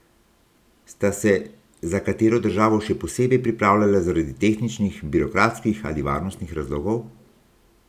Sta se za katero državo še posebej pripravljala zaradi tehničnih, birokratskih ali varnostnih razlogov?